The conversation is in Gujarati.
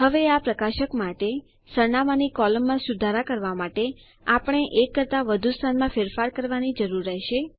હવે આ પ્રકાશક માટે સરનામાની કોલમમાં સુધારા કરવા માટે આપણે એક કરતા વધુ સ્થાનમાં ફેરફાર કરવાની જરૂર રહેશે